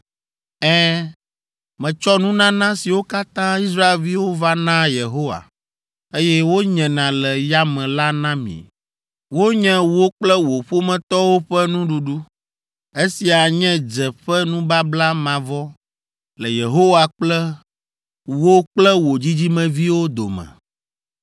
Ɛ̃, metsɔ nunana siwo katã Israelviwo va naa Yehowa, eye wonyena le yame la na mi. Wonye wò kple wò ƒometɔwo ƒe nuɖuɖu. Esia nye dze ƒe nubabla mavɔ le Yehowa kple wò kple wò dzidzimeviwo dome.”